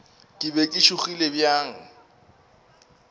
ke be ke tšhogile bjang